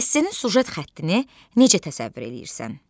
Esse-nin süjet xəttini necə təsəvvür eləyirsən?